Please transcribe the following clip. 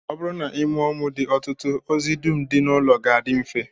Ọ bụrụ na ị mụọ ụmụ dị ọtụtụ, ozi dum dị n'ụlọ ga-adị mfe